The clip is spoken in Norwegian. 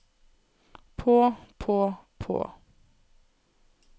på på på